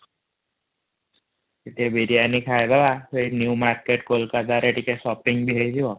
ସେଠୀ ବିରିୟଣୀ ଖାଇବା ସେ ନେବ ମାର୍କେଟ କୋଲକାତା ରେ ଟିକେ ଶପିଂ ବି ହେଇଯିବା |